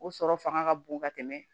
O sɔrɔ fanga ka bon ka tɛmɛ